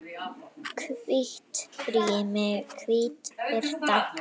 Hvítt rými, hvít birta.